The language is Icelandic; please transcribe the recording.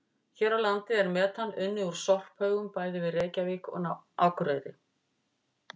Hér á landi er metan unnið úr sorphaugum bæði við Reykjavík og Akureyri.